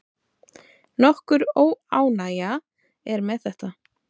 Nokkur óánægja er með þetta.